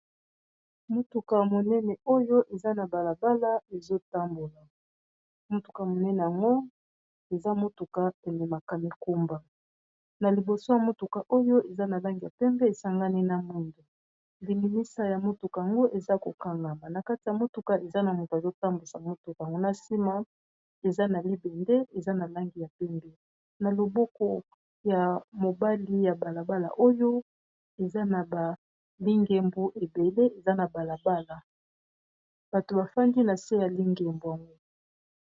Motuka monene oyo eza na bala bala ezo tambola motuka monene yango eza motuka pene makala, mikumba na liboso ya motuka oyo eza na langi ya pembe esangani na mwindu lingimisa ya motuka .Yango eza ko kangama na kati ya motuka eza na moto azo tambwisa motuka yango na nsima eza na libende eza na langi ya pembe na loboko ya mobali ya bala bala oyo eza na ba lingembo ebele eza na bala bala bato bafandi na se ya lingembo yango.